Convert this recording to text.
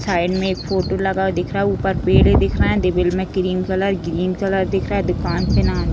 Side में एक photo लगा हुआ दिख रहा है ऊपर में पेड़े दिख रहे है देविल में क्रीम कलर ग्रीन कलर दिख रहा है दूकान का नाम।